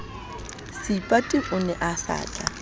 seipati o ne a sa